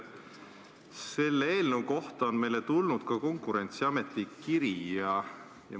Selle eelnõu kohta on meile tulnud ka Konkurentsiameti kiri.